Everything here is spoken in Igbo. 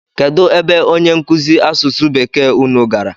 Kedụ ebe onye nkụzi asụsụ bekee unu gara?